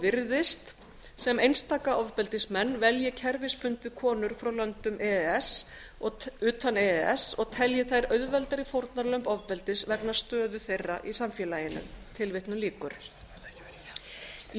virðist sem einstaka ofbeldismenn velji kerfisbundið konur frá löndum utan e e s og telji þær auðveldari fórnarlömb ofbeldis vegna stöðu þeirra í samfélaginu í